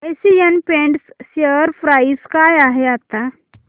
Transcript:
Asian Paints share price काय आहे आता